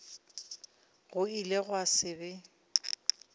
go ile gwa se be